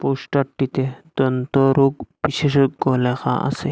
পোস্টারটিতে দন্তরোগ বিশেষজ্ঞ লেখা আসে।